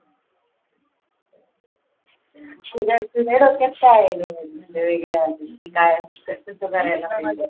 तुझ्या तुझ्या डोक्यात काय आहे वेगळं अजून की काय कसं करायला पाहिजे?